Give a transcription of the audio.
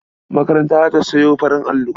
Makaranta za ta sayo farin allo.